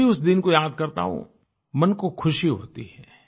जब भी उस दिन को याद करता हूँ मन को खुशी होती है